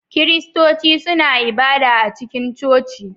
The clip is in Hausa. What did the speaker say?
Kiristoci suna ibada a cikin coci.